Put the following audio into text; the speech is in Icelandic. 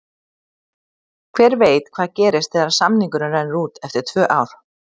Hver veit hvað gerist þegar samningurinn rennur út eftir tvö ár?